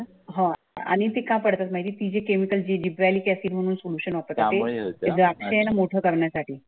आह आणि ते का पडतात माहित आहे टी जे केमिकल जी gibraalic acid म्हणून सोल्युशन द्राक्ष मोठं करण्यासाठी.